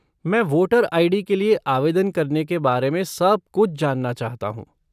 मैं voter ID. के लिए आवेदन करने के बारे में सब कुछ जानना चाहता हूँ।